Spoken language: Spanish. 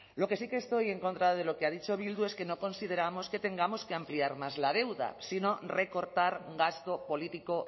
lo que sí que estoy en contra de lo que ha dicho bildu es que no consideramos que tengamos que ampliar más la deuda sino recortar gasto político